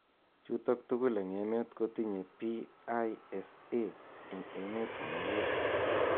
Chutok tugul eng emet kotinye PISA eng emet komukul.